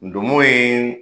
Ndomo ye